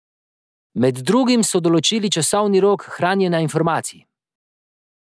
Med drugim so določili časovni rok hranjenja informacij.